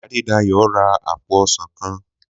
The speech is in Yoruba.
Adédayò ra àpò ọsàn kan.